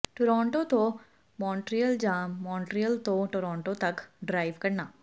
Toronto ਤੋਂ Montreal ਜਾਂ Montreal ਤੋਂ ਟੋਰਾਂਟੋ ਤੱਕ ਡ੍ਰਾਈਵ ਕਰਨਾ